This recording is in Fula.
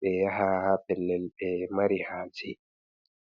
be yaha pellel be mari ha je.